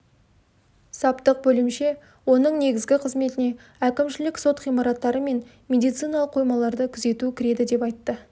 саптық бөлімше оның негізгі қызметіне әкімшілік сот ғимараттары мен медициналық қоймаларды күзету кіреді деп айтты